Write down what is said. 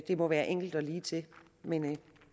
må være enkelt og ligetil men